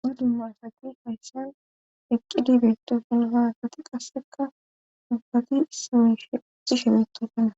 ha dumasaqi fayssan eqqidibeetofin haasati qasseka dubbati simeshehi shemeetodana